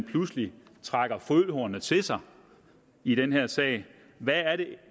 pludselig trækker følehornene til sig i den her sag hvad er det